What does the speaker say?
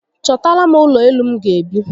Chotara m ulo elu m ga-ebi